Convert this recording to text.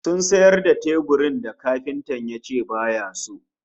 Sun sayar da teburin da kafintan yace baya so